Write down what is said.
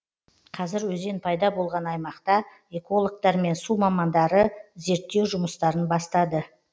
қазір өзен пайда болған аймақта экологтар мен су мамандары зерттеу жұмыстарын бастады